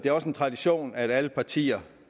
er også en tradition at alle partier